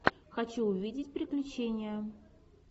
хочу увидеть приключения